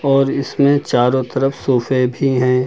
और इसमें चारों तरफ सोफे भी हैं।